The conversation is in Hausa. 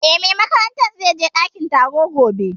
Eh, mai makarantar zai je ɗakin karatu gobe